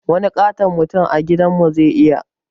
Wani ƙaton mutum a gidan mu zai iya